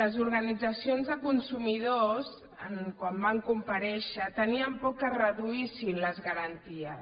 les organitzacions de consumidors quan van comparèixer tenien por que es reduïssin les garanties